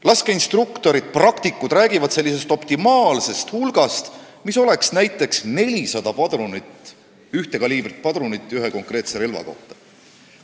Laskeinstruktorid, praktikud, räägivad optimaalsest hulgast, mis oleks näiteks 400 ühe kaliibriga padrunit ühe konkreetse relva kohta.